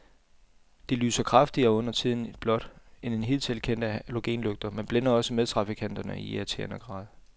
De lyser kraftigere, og undertiden blåt, end hidtil kendte halogenlygter, men blænder også medtrafikanterne i irriterende grad.